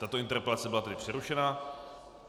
Tato interpelace byla tedy přerušena.